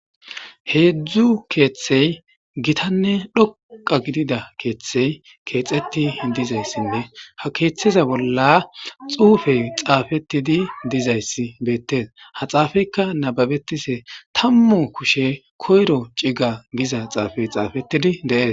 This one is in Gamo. Heedzdzu keeththey gitanne dhoqqa gidida keeththey keexeti dizayssinne ha keeththeza bolla xuufey xaafetidi dizayssi beettees ha xaafeykka nababetishe tammu kushe koyro ciga giza xaafey xaafetidi de'es.